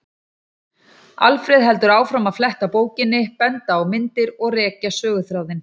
Alfreð heldur áfram að fletta bókinni, benda á myndir og rekja söguþráðinn.